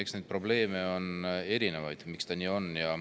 Eks neid probleeme ole erinevaid.